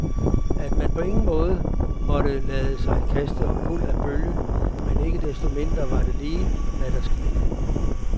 At man på ingen måde måtte lade sig kaste omkuld af bølgen, men ikke desto mindre var det lige, hvad der skete.